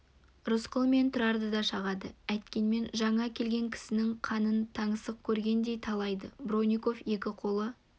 рысқұл мен тұрарды да шағады әйткенмен жаңа келген кісінің қанын таңсық көргендей талайды бронников екі қолы